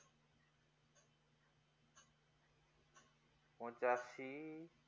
পঁচাসি